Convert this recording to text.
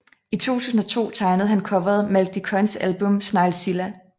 I 2002 tegnede han coveret Malk de Koijns album Sneglzilla